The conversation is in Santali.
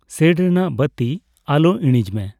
ᱥᱮᱹᱰ ᱨᱮᱱᱟᱝ ᱵᱟᱹᱛᱤ ᱟᱞᱚ ᱤᱬᱤᱡᱽ ᱢᱮ ᱾